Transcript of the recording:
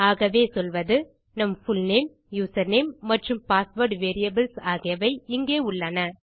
ஆகவே சொல்வது நம் புல்நேம் யூசர்நேம் மற்றும் பாஸ்வேர்ட் வேரியபிள்ஸ் ஆகியவை இங்கே உள்ளன